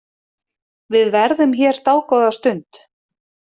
Við verðum hér dágóða stund.